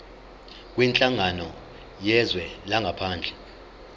kwinhlangano yezwe langaphandle